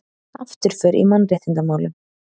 Afturför í mannréttindamálum